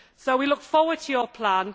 We look forward to your plan.